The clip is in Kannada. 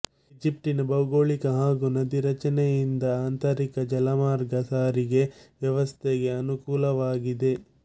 ಈಜಿಪ್ಟಿನ ಭೌಗೋಳಿಕ ಹಾಗೂ ನದೀ ರಚನೆಯಿಂದ ಆಂತರಿಕ ಜಲಮಾರ್ಗ ಸಾರಿಗೆ ವ್ಯವಸ್ಥೆಗೆ ಅನುಕೂಲವಾಗಿದೆ